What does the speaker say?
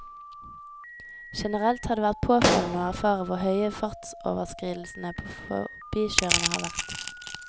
Generelt har det vært påfallende å erfare hvor høye fartsoverskridelsene på forbikjørende har vært.